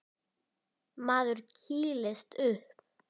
Maður kýlist upp.